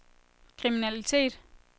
kriminalitet